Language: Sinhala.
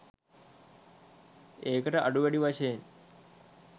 ඒක ට අඩු වැඩි වශයෙන්